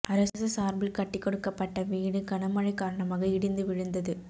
அரசு சார்பில் கட்டிக் கொடுக்கப்பட்ட வீடு கனமழை காரணமாக இடிந்து விழுந்தது